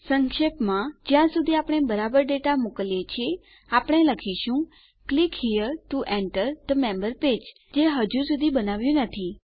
સંક્ષેપમાં જ્યાં સુધી આપણે બરાબર ડેટા મોકલીએ છીએ આપણે લખીશું click here to enter the member page જે હજુ સુધી બનાવ્યું નથી